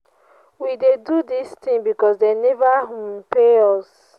we dey do dis thing because dey never um pay us.